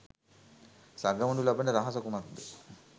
සගවනු ලබන රහස කුමක්ද?